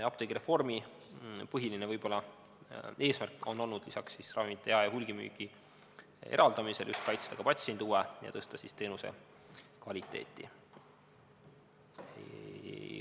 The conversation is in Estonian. Apteegireformi põhiline eesmärk on olnud lisaks ravimite jae- ja hulgimüügi eraldamisele just kaitsta patsiendi huve ja tõsta teenuse kvaliteeti.